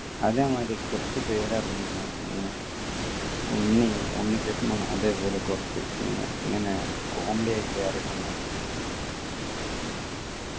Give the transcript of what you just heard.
അതെ മാതിരി കുറച്ചു പേര് ഇറങ്ങിക്കുണ് ഉം ഉണ്ണി ഉണ്ണികൃഷ്ണൻ അതേപോലെ കുറച്ചു team ഇങ്ങനെ comedy ആയിട്ട് ഇറങ്ങുന്ന feel